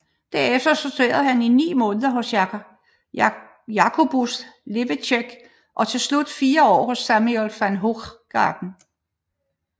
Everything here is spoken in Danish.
Derefter studerede han i ni måneder hos Jacobus Leveck og til slut fire år hos Samuel van Hoogstraten